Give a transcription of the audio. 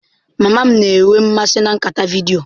Mama m na-enwe mmasị na nkata vidiyo.